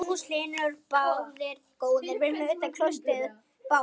Magnús Hlynur: Báðir góðir?